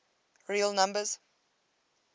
real numbers